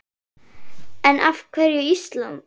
En af hverju Ísland?